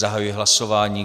Zahajuji hlasování.